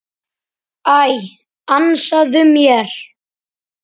Æ, ansaðu mér.